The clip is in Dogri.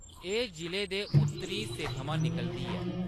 एह्‌‌ जि'ले दे उत्तरी हिस्से थमां निकलदी ऐ।